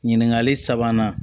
Ɲininkali sabanan